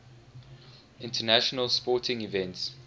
international sporting events